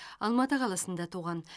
алматы қаласында туған